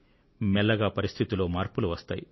మెల్లగా పరిస్థితిలో మార్పులు వస్తాయి